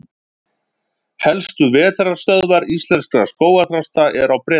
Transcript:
Helstu vetrarstöðvar íslenskra skógarþrasta eru á Bretlandseyjum.